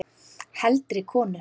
Heldri konur